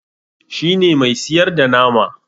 shi ne Mai siyarda nama